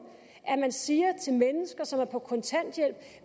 at man siger til mennesker som er på kontanthjælp